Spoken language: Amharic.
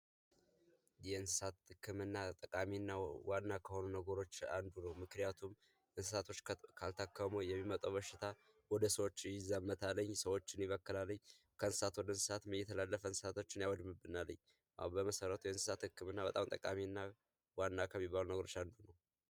የእንስሳት ህክምና ጠቃሚ ዋና ከሆኑ ነገሮች አንዱ ነው። ምክንያቱም እንስሳቶች ካልታከሙ የሚመጣው በሽታ ወደ ሰዎች ይዛመታል። የሰዎችን ይበክላል። ከእንስሳት ወደ እንስሳት እየተላለፈ እንስሳቶን ይበክልብናል። አዎ በመሰረቱ የእንስሳት ህክምና ጠቃሚና ዋና ከሚባሉ ነገሮች አንዱ ነው።